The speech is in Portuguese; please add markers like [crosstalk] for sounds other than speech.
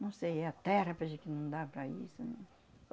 Não sei, é a terra [unintelligible] que não dá para isso, num...